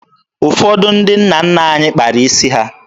Ụfọdụ ndị nna nna anyị kpara isi ha.